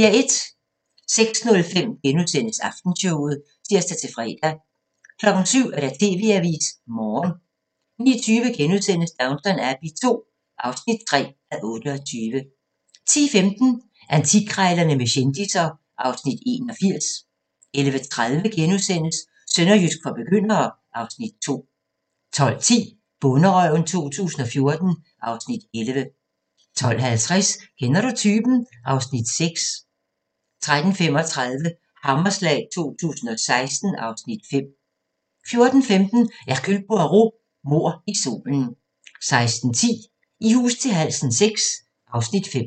06:05: Aftenshowet *(tir-fre) 07:00: TV-avisen Morgen 09:20: Downton Abbey II (3:28)* 10:15: Antikkrejlerne med kendisser (Afs. 81) 11:30: Sønderjysk for begyndere (Afs. 2)* 12:10: Bonderøven 2014 (Afs. 11) 12:50: Kender du typen? (Afs. 6) 13:35: Hammerslag 2016 (Afs. 5) 14:15: Hercule Poirot: Mord i solen 16:10: I hus til halsen VI (Afs. 5)